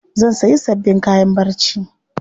Zan sayi sabbin kayan barci.